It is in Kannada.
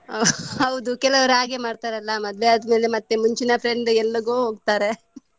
ಹೌದು ಕೆಲವರು ಹಾಗೆ ಮಾಡ್ತಾರಲ್ಲ ಮದುವೆ ಆದ್ಮೇಲೆ ಮತ್ತೇ ಮುಂಚಿನ friend ಎಲ್ಲಿಗೋ ಹೋಗ್ತಾರೆ.